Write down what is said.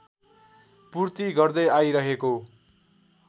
पूर्ति गर्दै आइरहेको